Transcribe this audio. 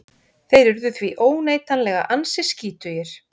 þeir urðu því óneitanlega ansi skítugir